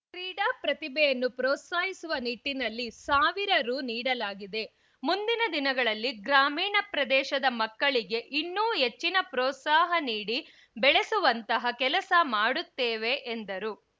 ಕ್ರೀಡಾ ಪ್ರತಿಭೆಯನ್ನು ಪ್ರೋತ್ಸಾಹಿಸುವ ನಿಟ್ಟಿನಲ್ಲಿ ಸಾವಿರ ರು ನೀಡಲಾಗಿದೆ ಮುಂದಿನ ದಿನಗಳಲ್ಲಿ ಗ್ರಾಮೀಣ ಪ್ರದೇಶದ ಮಕ್ಕಳಿಗೆ ಇನ್ನೂ ಹೆಚ್ಚಿನ ಪ್ರೋತ್ಸಾಹ ನೀಡಿ ಬೆಳೆಸುವಂಥಹ ಕೆಲಸ ಮಾಡುತ್ತೇವೆ ಎಂದರು